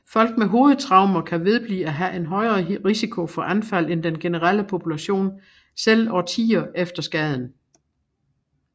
Folk med hovedtraumer kan vedblive at have en højere risiko for anfald end den generelle population selv årtier efter skaden